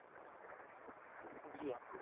জি আপু